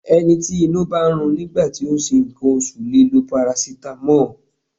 Ẹni tí inú bá ń run nígbà tí ó ń ṣe nǹkan oṣù lè lo parasitamọ́ọ̀.